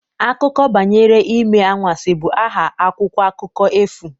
Akụkọ banyere Ime Anwansi' bụ aha akwụkwọ akụkọ efu